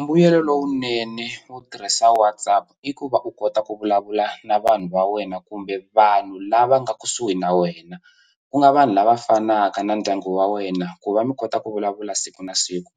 Mbuyelo lowunene wo tirhisa WhatsApp i ku va u kota ku vulavula na vanhu va wena kumbe vanhu lava nga kusuhi na wena ku nga vanhu lava fanaka na ndyangu wa wena ku va mi kota ku vulavula siku na siku